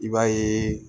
I b'a yeee